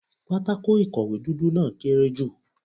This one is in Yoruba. Pátákó ìkọ̀wé dúdú náà kéré jù.